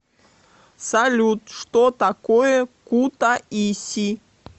салют что такое кутаиси